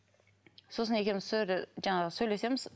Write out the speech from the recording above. сосын екеуміз сол жерде жаңағы сөйлесеміз